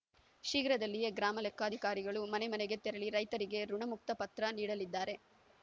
ಶೀಘ್ರದಲ್ಲಿಯೇ ಗ್ರಾಮ ಲೆಕ್ಕಾಧಿಕಾರಿಗಳು ಮನೆ ಮನೆಗೆ ತೆರಳಿ ರೈತರಿಗೆ ಋುಣಮುಕ್ತ ಪತ್ರ ನೀಡಲಿದ್ದಾರೆ